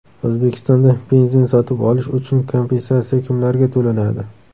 O‘zbekistonda benzin sotib olish uchun kompensatsiya kimlarga to‘lanadi?.